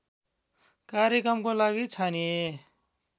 कार्यक्रमको लागि छानिए